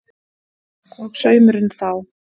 Og saumurinn þá?